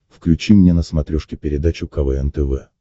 включи мне на смотрешке передачу квн тв